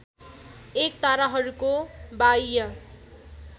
एक ताराहरूको बाह्य